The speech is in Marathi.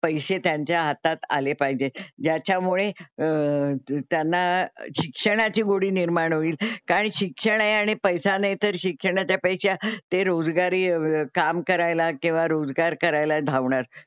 पैसे त्यांच्या हातात आले पाहिजे. ज्याच्यामुळे अं त्यांना शिक्षणाची गोडी निर्माण होईल. कारण शिक्षण आहे आणि पैसा नाही तर शिक्षणाच्या पेक्षा ते रोजगारी काम करायला किंवा रोजगार करायला धावणार.